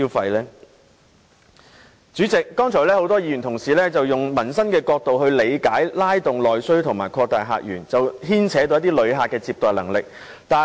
代理主席，剛才很多議員均從民生角度理解拉動內需和擴大客源，於是牽扯到接待旅客的能力。